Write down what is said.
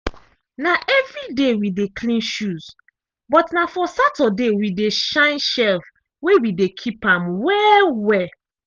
na evriday we dey clean shoes but na for saturday we dey shine shelf wey we dey keep am well-well.